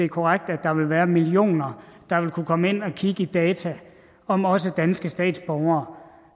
korrekt at der vil være millioner der vil kunne komme ind og kigge i data om også danske statsborgere